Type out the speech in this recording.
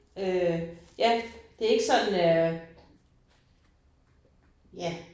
Øh ja det ikke sådan øh ja